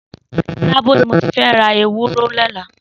Sábó ni mó ti fẹ̀ rà éwùrẹ̀ lọlá